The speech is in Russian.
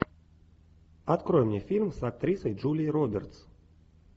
открой мне фильм с актрисой джулией робертс